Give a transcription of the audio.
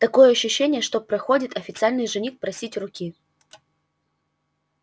такое ощущение что проходит официальный жених просить руки